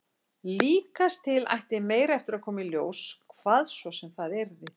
Líkast til ætti meira eftir að koma í ljós, hvað svo sem það yrði.